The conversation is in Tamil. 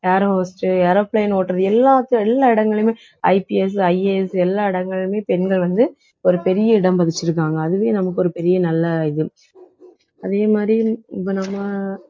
air hostess, aeroplane ஓட்டுறது எல்லா இடங்களிலுமே IPSIAS எல்லா இடங்களிலுமே பெண்கள் வந்து ஒரு பெரிய இடம் பதிச்சிருக்காங்க அதுவே நமக்கு ஒரு பெரிய நல்ல இது அதே மாதிரி இப்ப நம்ம